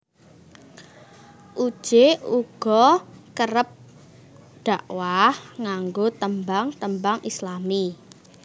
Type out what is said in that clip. Uje uga kerep dakwah nganggo tembang tembang Islami